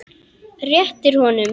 Réttir honum.